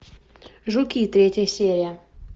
жуки третья серия